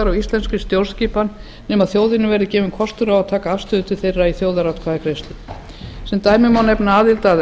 á íslenskri stjórnskipun nema þjóðinni verði gefinn kostur á að taka afstöðu til þeirra í þjóðaratkvæðagreiðslu sem dæmi má nefna aðild íslands að